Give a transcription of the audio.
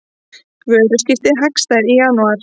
Vöruskipti hagstæð í janúar